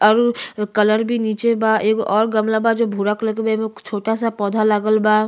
और उ कलर भी नीचे बा एगो और गमला बा जो भूरा कलर के बा एमा छोटा-सा पौधा लागल बा।